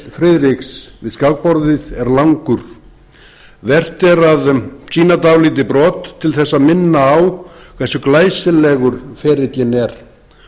friðriks við skákborðið er langur vert er að sýna dálítið brot til þess að minna á hversu glæsilegur ferillinn er